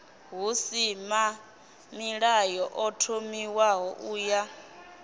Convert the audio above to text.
husimamilayo ḓo thomiwaho u ya